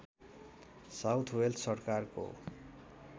south Wales सरकारको